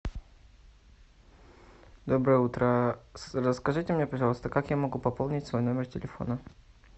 доброе утро расскажите мне пожалуйста как я могу пополнить свой номер телефона